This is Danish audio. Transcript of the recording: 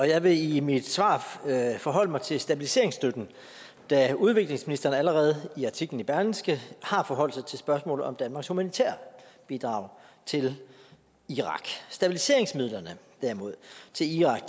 jeg vil i mit svar forholde mig til stabiliseringsstøtten da udviklingsministeren allerede i artiklen i berlingske har forholdt sig til spørgsmålet om danmarks humanitære bidrag til irak stabiliseringsmidlerne til irak